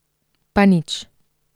Pa nič.